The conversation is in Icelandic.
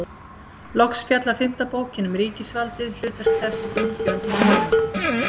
Loks fjallar fimmta bókin um ríkisvaldið, hlutverk þess, útgjöld og fjármögnun.